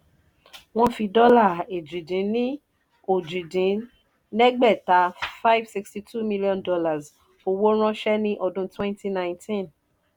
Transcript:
wọ́n fi dọ́là èjì-dín-ní-ojì dín ẹgbẹ́ta five sixty two million dollars owó ránṣẹ́ ní ọdún twenty nineteen